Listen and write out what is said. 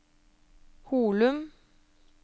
Holum